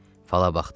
Fala baxdıralar.